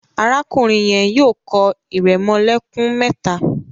Arákùnrin yen yóò kọ iremolekun méta.